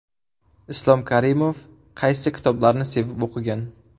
Islom Karimov qaysi kitoblarni sevib o‘qigan ?